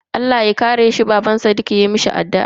Allah ya kare ka, Baban sadiq ya mishi addu'a.